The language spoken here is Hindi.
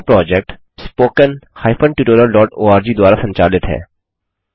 यह प्रोजेक्ट httpspoken tutorialorg द्वारा संचालित है